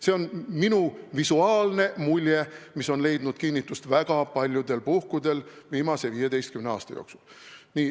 See on minu visuaalne mulje, mis on leidnud viimase 15 aasta jooksul kinnitust väga paljudel puhkudel.